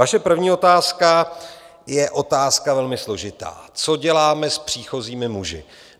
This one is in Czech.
Vaše první otázka je otázka velmi složitá - co děláme s příchozími muži.